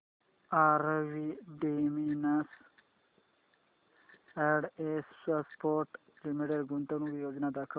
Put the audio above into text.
RV denims and exports limited गुंतवणूक योजना दाखव